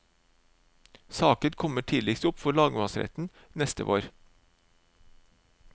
Saken kommer tidligst opp for lagmannsretten neste vår.